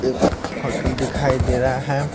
एक होटल दिखाई दे रहा है।